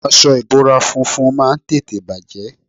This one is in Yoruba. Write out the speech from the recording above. Aṣọ ìbora funfun máa ń tètè bàjé.